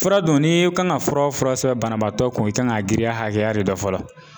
Fura dun ni kan ka fura o fura sɛbɛn banabaatɔ kun, i kan ka girinya hakɛya de dɔn fɔlɔ